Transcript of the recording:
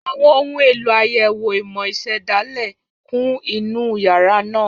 Àwọn ohun èlò àyẹ̀wò ìmọ̀ ìṣẹ̀dálẹ̀ kún inú yàrá náà.